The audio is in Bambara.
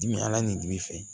Dimi ala nin d'i fɛ